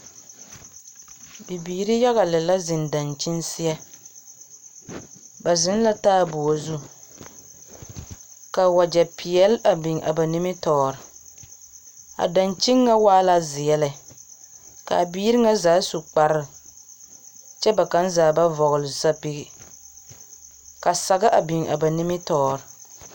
Bibiiri yaga lɛ la zeŋ dankyini seɛ, ba zeŋ la taaboɔ zu, ka wagyɛ peɛl biŋ a ba nimmitɔɔre. A dankyini ŋa waa zeɛ lɛ, ka a biiri ŋa zaa su kpare, kyɛ kaŋa zaa ba vɔgle zapigi, kyɛ ka sagere biŋ kɔge ba.